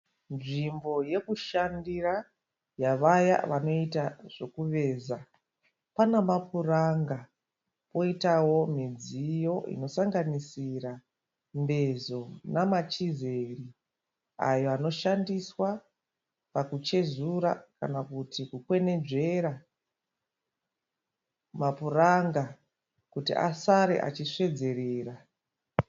Nzvimbo yokushandira yavaya vanoveza. Pana mapuranga poitawo midziyo inosanganisira mbezo namachezera ayo anoshandiswa pakuchezura kana kuti kukwenenzvera mapuranga kuti asare achisvedzerera.